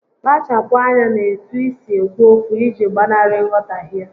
Kpachapu anya n'etu isi ekwu okwu iji gbanarị nghọtahie